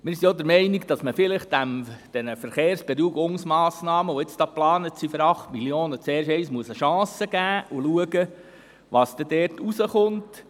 Wir sind auch der Meinung, dass man vielleicht den Verkehrsberuhigungsmassnahmen, die jetzt geplant sind und 8 Mio. Franken kosten sollen, zuerst eine Chance geben und schauen soll, was dort herauskommt.